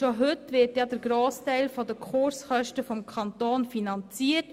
Schon heute wird der grössere Teil der Kurskosten vom Kanton finanziert.